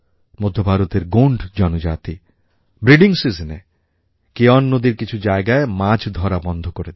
মধ্যভারতের গোণ্ড জনজাতি ব্রিডিং seasonএ কেয়ন নদীর কিছু জায়গায় মাছ ধরা বন্ধ করে দেয়